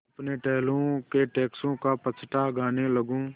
अपने टहलुओं के टैक्सों का पचड़ा गाने लगूँ